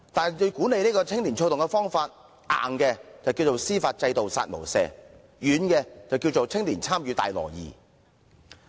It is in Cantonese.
至於管理青年躁動的方法，硬的是"司法制度殺無赦"，軟的則是"青年參與大挪移"。